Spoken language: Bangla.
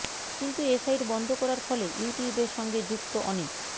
কিন্তু এ সাইট বন্ধ করার ফলে ইউটিউবের সঙ্গে যুক্ত অনেক